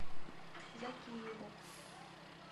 закиеву